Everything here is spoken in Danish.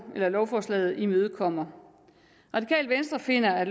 lovforslaget imødekommer radikale venstre finder at